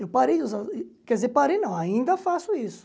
Eu parei de usar, quer dizer, parei não, ainda faço isso.